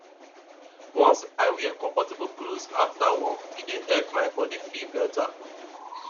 once i wear comfortable clothes after work e dey help my body feel better